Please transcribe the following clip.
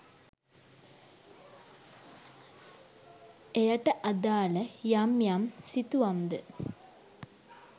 එයට අදාළ යම් යම් සිතුවම් ද